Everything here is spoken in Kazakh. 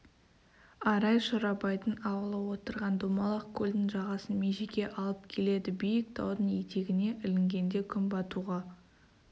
арай шорабайдың ауылы отырған домалақ көлдің жағасын межеге алып келеді биік таудың етегіне ілінгенде күн батуға